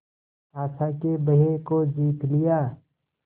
आशा के भय को जीत लिया